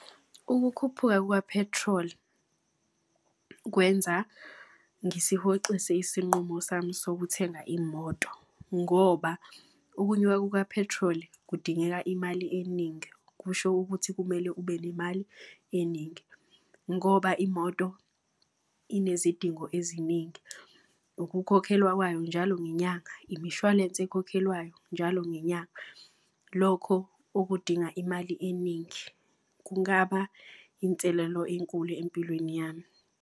Ukukhuphuka kwa-petrol kwenza ngisihoxise isinqumo sami sokuthenga imoto ngoba okunyuka kuka-petrol kudingeka imali eningi. Kusho ukuthi kumele ube nemali eningi ngoba imoto inezidingo eziningi. Ukukhokhelwa kwayo njalo ngenyanga, imishwalense ekhokhelwayo njalo ngenyanga. Lokho okudinga imali eningi. Kungaba inselelo enkulu empilweni yami.